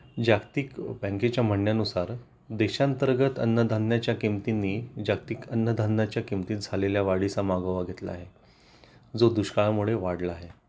जागतिक बँकेच्या म्हणण्यानुसार देशांतर्गत अन्नधान्याच्या किमतींनी जागतिक अन्नधान्याच्या किमतीत झालेल्या वाढीचा मागोवा घेतला आहे जो दुष्काळामुळे वाढला आहे